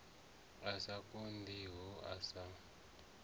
a sa konḓiho a sa